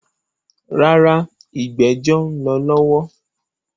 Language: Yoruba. Rárá, “ ìgbẹ́jọ́” ń lọ lọ́wọ́.